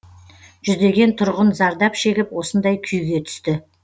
жүздеген тұрғын зардап шегіп осындай күйге түсті